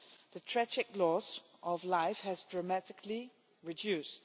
The tragic loss of life has dramatically reduced.